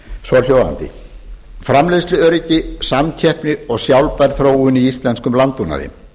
svohljóðandi framleiðsluöryggi samkeppni og sjálfbær þróun í íslenskum landbúnaði